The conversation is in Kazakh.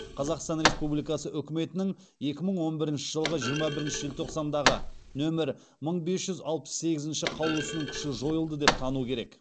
қазақстан республикасы үкіметінің екі мың он бірінші жылғы жиырма бірінші желтоқсандағы нөмір мың бес жүз алпыс сегізінші қаулысының күші жойылды деп тану керек